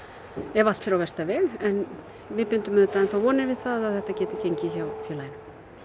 ef allt fer á versta veg en við bindum auðvitað enn þá vonir við það að þetta geti gengið hjá félaginu